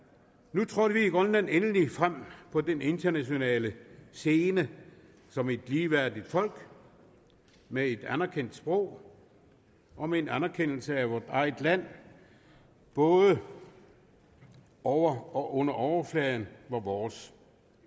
nu trådte vi i grønland endelig frem på den internationale scene som et ligeværdigt folk med et anerkendt sprog og med en anerkendelse af vort eget land både det over og under overfladen var vores